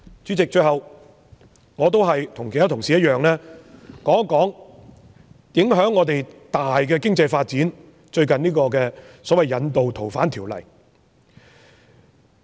主席，最後，我和其他同事一樣，談談影響我們重大的經濟發展、最近提出有關《逃犯條例》的修訂。